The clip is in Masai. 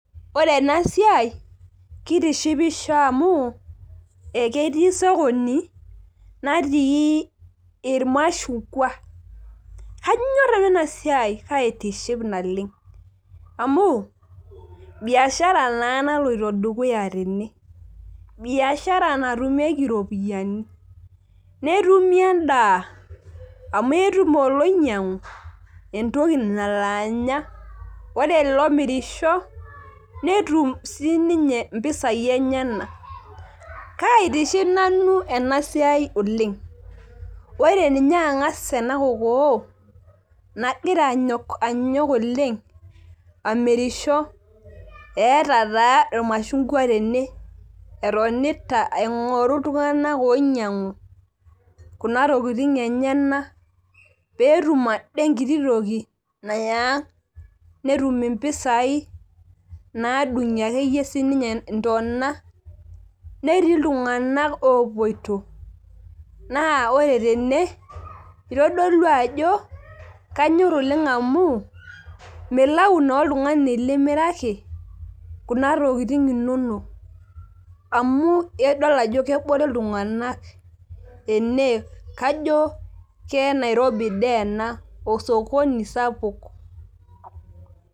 ore ena siai kitishipisho amu eketii sokoni natii ilmashungwa kanyor nanu ena siai kaitiship naleng' amu biashara naa naloito dukuya tene biashara natumieki iropiyiani netumi edaa , amu etum oiloinyang'u entoki nalo anya ore olo mirisho netum sii ninye inpisai enyanak kaitiship nanu ena siaii oleng' ore ninye ang'as ena kokoo anyok oleng' amirisho , eeta taa imashungwa tene etonita aing'oru iltung'anak oinyang'u kuna tokitin enyanak pee etum ade enkitoki nayang' netum impisai naadung'ie akeyie siininye intona netii iltung'anak opoito, itodolu ajo kanyor oleng' amu milau naa oltung'ani limiraki, kuna tokitin inonok amu kajo kenairobi dii ena osokoni sapuk.